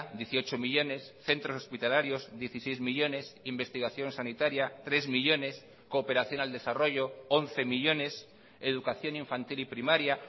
dieciocho millónes centros hospitalarios dieciséis millónes investigación sanitaria tres millónes cooperación al desarrollo once millónes educación infantil y primaria